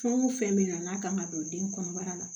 Fɛn o fɛn bɛ na n'a kan ka don den kɔnɔbara la